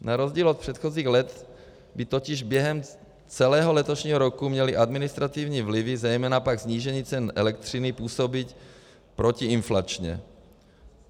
Na rozdíl od předchozích let by totiž během celého letošního roku měly administrativní vlivy, zejména pak snížení cen elektřiny, působit protiinflačně.